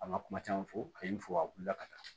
An ka kuma caman fɔ a ye n fɔ a wulila ka taa